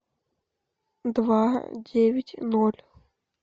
два девять ноль